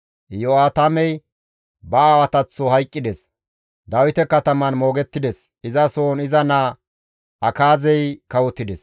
Iyo7aatamey ba aawataththo hayqqides; Dawite kataman moogettides; izasohon iza naa Akaazey kawotides.